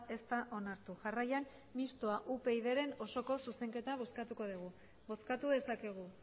ez da onartu jarraian mistoa upyd taldearen osoko zuzenketa bozkatuko dugu bozkatu dezakegu